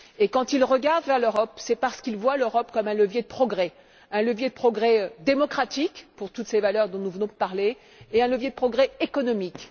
Et quand ils tournent leur regard vers l'Europe, c'est parce qu'ils voient l'Europe comme un levier de progrès un levier de progrès démocratique, pour toutes ces valeurs dont nous venons de parler, et un levier de progrès économique.